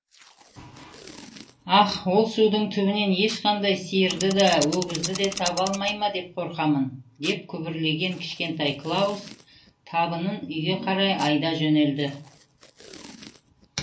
аһ ол судың түбінен ешқандай сиырды да өгізді де таба алмай ма деп қорқамын деп күбірлеген кішкентай клаус табынын үйге қарай айдай жөнелді